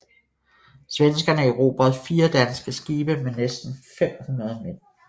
Svenskerne erobrede fire danske skibe med næsten 500 mand